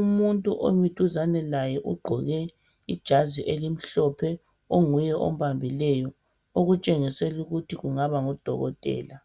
umuntu omi duzane laye ugqoke ijazi elimhlophe onguye ombambileyo okutshengisela ukuthi kungaba ngu dokotela